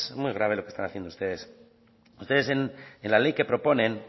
muy grave lo que están haciendo ustedes ustedes en la ley que proponen